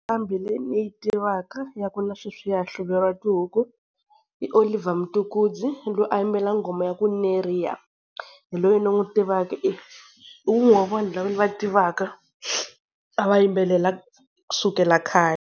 Nqambi leyi ni yi tivaka ya ku na sweswi ya hlululeriwa xihuku i Olivier Mtukudzi loyi a yimbela nghoma ya ku Neria. Hi loyi ni n'wi tivaka i wun'we wa vanhu lava ni va tivaka a va yimbelela kusukela khale.